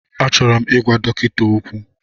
Achọrọ m ịgwa dọkịta okwu.